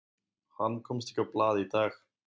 Hann komst ekki á blað í dag.